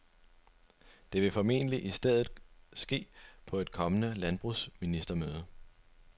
Det vil formentlig i stedet ske på et kommende landbrugsministermøde.